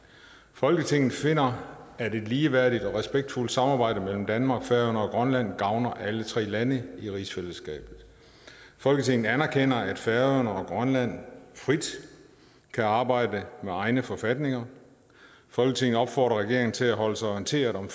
folketinget finder at et ligeværdigt og respektfuldt samarbejde mellem danmark færøerne og grønland gavner alle tre lande i rigsfællesskabet folketinget anerkender at færøerne og grønland frit kan arbejde med egne forfatninger folketinget opfordrer regeringen til at holde sig orienteret om